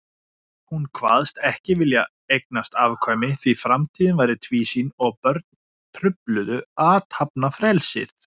Hún kvaðst ekki vilja eignast afkvæmi, því framtíðin væri tvísýn og börn trufluðu athafnafrelsið.